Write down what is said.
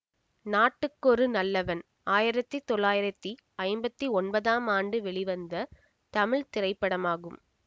நாட்டுக்கொரு நல்லவன் ஆயிரத்தி தொள்ளாயிரத்தி ஐம்பத்தி ஒன்பதாம் ஆண்டு வெளிவந்த தமிழ் திரைப்படமாகும்